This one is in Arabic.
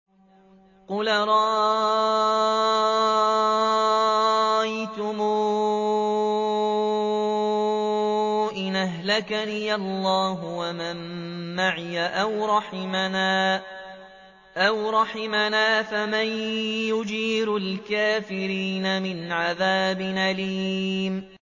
قُلْ أَرَأَيْتُمْ إِنْ أَهْلَكَنِيَ اللَّهُ وَمَن مَّعِيَ أَوْ رَحِمَنَا فَمَن يُجِيرُ الْكَافِرِينَ مِنْ عَذَابٍ أَلِيمٍ